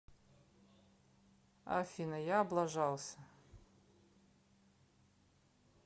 афина я облажался